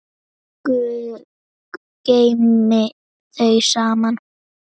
Guð geymi þau saman.